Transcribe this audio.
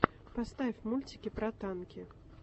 поставь мультики про танки